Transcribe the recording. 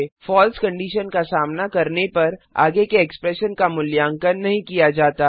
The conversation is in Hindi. फलसे कंडीशन का सामना करने पर आगे के एक्सप्रेशन का मूल्यांकन नहीं किया जाता